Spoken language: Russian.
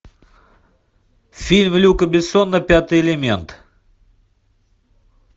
фильм люка бессона пятый элемент